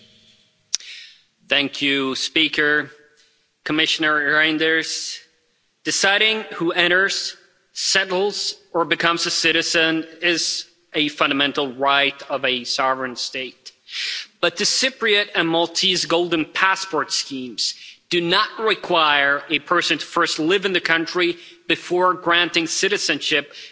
Mr President, deciding who enters, settles or becomes a citizen is a fundamental right of a sovereign state, but the Cypriot and Maltese golden passport schemes do not require a person to first live in the country before granting citizenship and the right to enter and settle in other European countries.